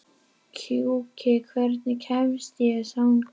Gjúki, hvernig kemst ég þangað?